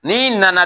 N'i nana